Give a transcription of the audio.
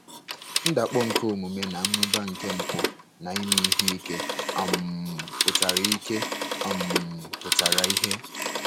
Ndakpọ nke omume na mmụba nke mpụ na ime ihe ike um pụtara ike um pụtara ìhè.